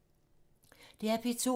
DR P2